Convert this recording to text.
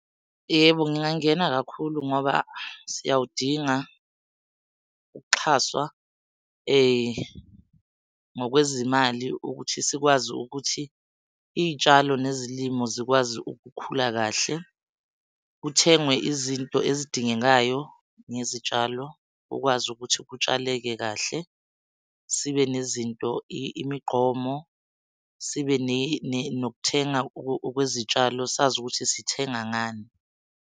Yebo, ngingangena kakhulu ngoba siyawudinga ukuxhaswa, ngokwezimali ukuthi sikwazi ukuthi iy'tshalo nezilimo zikwazi ukukhula kahle. Kuthengwe izinto ezidingekayo ngezitshalo ukwazi ukuthi kutshaleke kahle. Sibe nezinto, imigqomo, sibe nokuthenga okwezitshalo sazi ukuthi sithenga ngani.